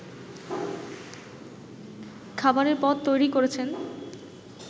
খাবারের পদ তৈরি করেছেন